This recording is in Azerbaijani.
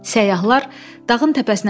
Səyyahlar dağın təpəsinə çıxdılar.